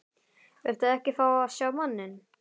Viltu ekki fá að sjá manninn?